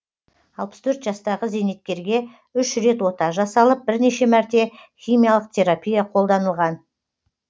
алпыс төрт жастағы зейнеткерге үш рет ота жасалып бірнеше мәрте химиялық терпапия қолданылған